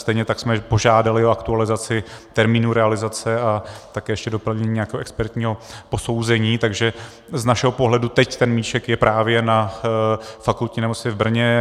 Stejně tak jsme požádali o aktualizaci termínu realizace a také ještě doplnění nějakého expertního posouzení, takže z našeho pohledu teď ten míček je právě na Fakultní nemocnici v Brně.